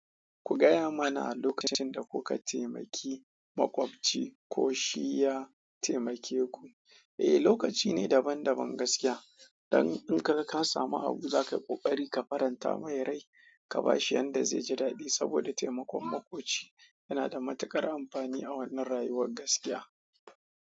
Ku gaya mana a lokacin da kuka taimaki maƙwabci ko shi ya taimake ku. Eh, lokaci ne daban-daban gaskiya. Dan in kaga ka samu abu zaka yi kokari kaga ka farinta mai, ka bashi yanda zai ji dadi saboda taimakon makwabci, ya nada matukar amfani a wannan rayuwan gaskiya.